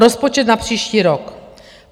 Rozpočet na příští rok.